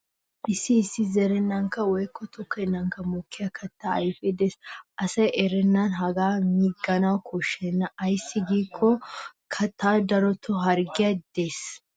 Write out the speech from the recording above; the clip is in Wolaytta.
Issi issi zerennankka woykko tokkennan mokkiya kattaa ayfee des. Asay erennan hagaa miigana koshshena ayssi giikko kattay darotoo harggiyaara des.